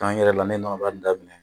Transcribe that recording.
K'an yɛrɛ la ne nɔnɔ baara in daminɛ